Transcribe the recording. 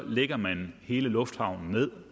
lægger man hele lufthavnen ned